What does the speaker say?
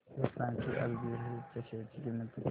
हे सांगा की आज बीएसई च्या शेअर ची किंमत किती आहे